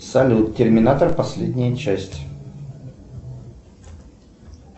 салют терминатор последняя часть